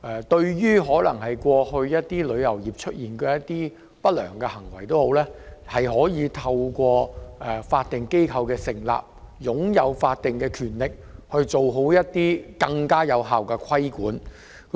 對旅遊業過去出現的不良行為，旅監局作為法定機構，可透過其法定權力，進行更有效的規管。